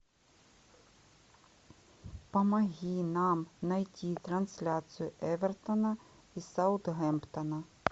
помоги нам найти трансляцию эвертона и саутгемптона